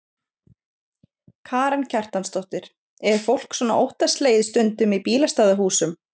Karen Kjartansdóttir: Er fólk svona óttaslegið stundum í bílastæðahúsum?